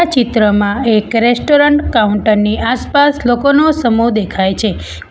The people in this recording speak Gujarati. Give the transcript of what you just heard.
ચિત્રમાં એક રેસ્ટોરન્ટ કાઉન્ટરની આસપાસ લોકોનો સમૂહ દેખાય છે.